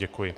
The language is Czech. Děkuji.